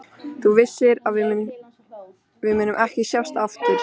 Þú vissir að við mundum ekki sjást aftur.